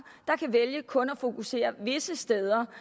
der kan vælge kun at fokusere visse steder